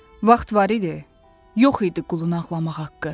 Vaxt var idi, yox idi qulun ağlamaq haqqı.